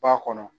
Ba kɔnɔ